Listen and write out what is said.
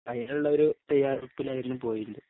ആയിലുള്ളൊരു തയ്യാറെടുപ്പിലായിരുന്നു പോയിലെ